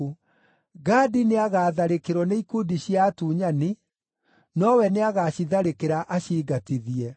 “Gadi nĩagatharĩkĩrwo nĩ ikundi cia atunyani, nowe nĩagacitharĩkĩra aciingatithie.